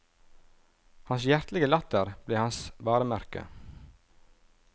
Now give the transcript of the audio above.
Hans hjertelige latter ble hans varemerke.